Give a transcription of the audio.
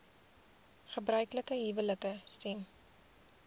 gebruiklike huwelike stem